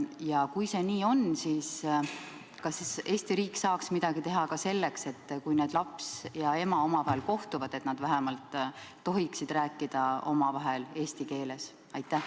Ja kui see nii on, siis kas Eesti riik saaks teha midagi selleks, et kui laps ja ema kohtuvad, siis nad vähemalt tohiksid rääkida omavahel eesti keeles?